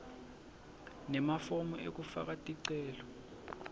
nemafomu ekufaka ticelo